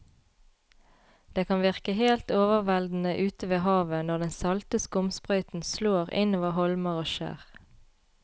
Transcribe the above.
Det kan virke helt overveldende ute ved havet når den salte skumsprøyten slår innover holmer og skjær.